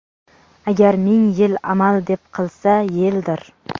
Agar ming yil amal deb qilsa, yeldir!.